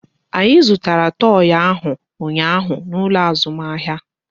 Anyị zụtara toi ahụ ụnyaahụ n'ụlọ azụmahịa